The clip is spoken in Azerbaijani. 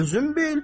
Özün bil.